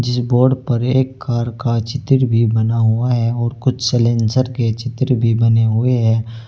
जिस बोर्ड पर एक कार का चित्तर भी बना हुआ है और कुछ सलेंसर के चित्र भी बने हुए हैं।